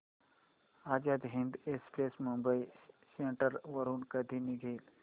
Azad Hind express Mumbai central वरून कधी निघेल